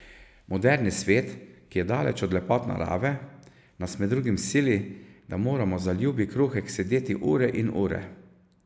Moderni svet, ki je daleč od lepot narave, nas med drugim sili, da moramo za ljubi kruhek sedeti ure in ure.